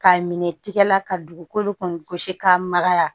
Ka minɛ tigɛ la ka dugukolo kɔni gosi ka magaya